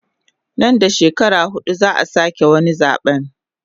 Nan da shekara hudu zaa sake wani zabe